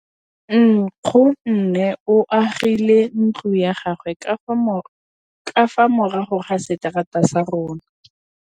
Nkgonne o agile ntlo ya gagwe ka fa morago ga seterata sa rona.